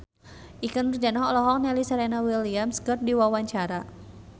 Ikke Nurjanah olohok ningali Serena Williams keur diwawancara